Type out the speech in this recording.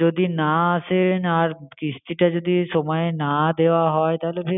যদি না আসেন, আর কিস্তিটা যদি সময়ে না দেওয়া হয় তাহলে